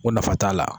Ko nafa t'a la